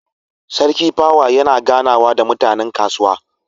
Sarki pawa yana ganawa da mutanen kasuwa